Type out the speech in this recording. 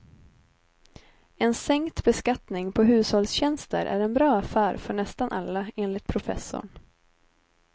En sänkt beskattning på hushållstjänster är en bra affär för nästan alla, enligt professorn.